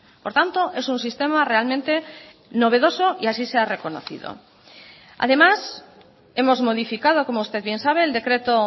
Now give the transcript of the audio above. por tanto es un sistema realmente novedoso y así se ha reconocido además hemos modificado como usted bien sabe el decreto